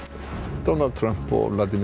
Donald Trump og